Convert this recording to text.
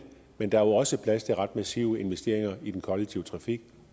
men der er også plads til ret massive investeringer i den kollektive trafik